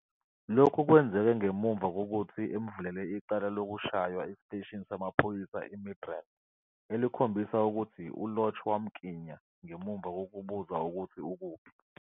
Lokhu kwenzeke ngemuva kokuthi emvulele icala lokushaywa esiteshini samaphoyisa eMidrand elikhombisa ukuthi uLorch wamklinya ngemuva kokubuza ukuthi ukuphi.